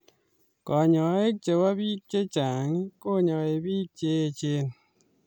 Kanyaik chepo piik cheechen konyai piik cheechen